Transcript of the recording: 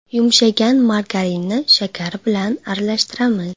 Yumshagan margarinni shakar bilan aralashtiramiz.